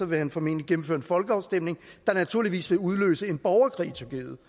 vil han formentlig gennemføre en folkeafstemning der naturligvis vil udløse en borgerkrig i tyrkiet